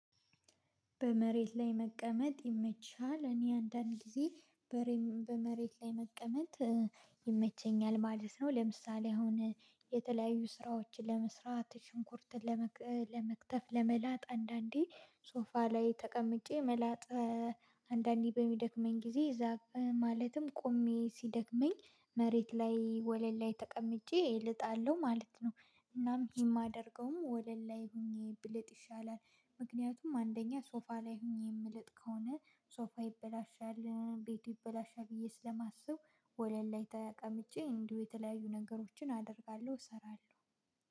በመሬት ላይ መቀመጥ ይመችሃል? እኔ አንዳንድ ጊዜ በመሬት ላይ መቀመጥ ይመቸኛል ማለት ነው። ለምሳሌ አሁን የተለያዩ ስራዎችን ለመስራት ሽንኩርት ለመክተፍ ለመላጥ አንዳንዴ ሶፋ ላይ ተቀምጬ መላጥ አንዳንዴ በሚደክመኝ ጊዜ እዛ ማለትም ቆሜ ሲደክመኝ መሬት ላይ ወለል ላይ ተቀምጬ እልጣለሁ ማለት ነው። እናም የማደርገውም ወለል ላይ ሆኜ ብልጥ ይሻላል። ምክንያቱም አንደኛ ሶፋ ላይ ሆኜ የምለጥ ከሆነ ሶፋ ይበላሻል ቤቱ ይበላሻል። ብዬ ስለማስብ ወለል ላይ ተቀምጬ እንዲሁ የተለያዩ ነገሮችን አደርጋለሁ እሰራለሁ